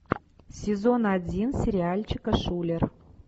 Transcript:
сезон один сериальчика шулер